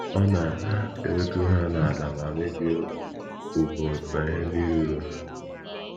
Ọ na - ewetu ha ala ma mebie ùgwù na ihe ndị ruuru ha.